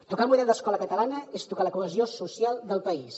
tocar el model d’escola catalana és tocar la cohesió social del país